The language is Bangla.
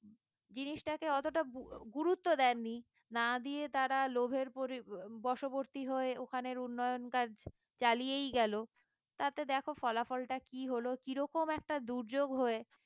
জিনিসটাকে অতটা গুগুরুত্ব দেননি না দিয়ে তারা লোভের পরি বসবর্তি হয়ে ওখানের উন্নয়ন কাজ চালিয়েই গেল তাতে দেখো ফলাফল টা কি হলো কিরকম একটা দুর্যোগ হয়ে